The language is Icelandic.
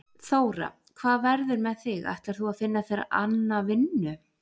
Þóra: Hvað verður með þig, ætlar þú að finna þér anna vinnu?